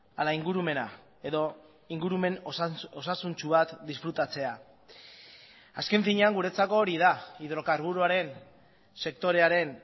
ala ingurumena edo ingurumen osasuntsu bat disfrutatzea azken finean guretzako hori da hidrokarburoaren sektorearen